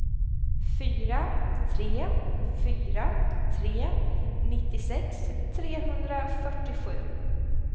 fyra tre fyra tre nittiosex trehundrafyrtiosju